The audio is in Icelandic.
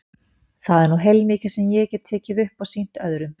Það er nú heilmikið sem ég get tekið upp og sýnt öðrum.